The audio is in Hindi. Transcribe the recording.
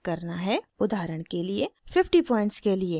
उदाहरण के लिए: 50 पॉइंट्स के लिए